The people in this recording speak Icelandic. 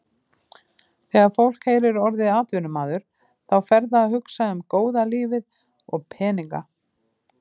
Þegar fólk heyrir orðið atvinnumaður þá fer það að hugsa um góða lífið og peninga.